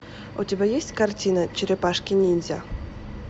у тебя есть картина черепашки ниндзя